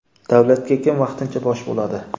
Davlatga kim vaqtincha bosh bo‘ladi?.